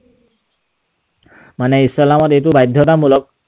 মানে ইছলামত এইটো বাধ্যতামূলক।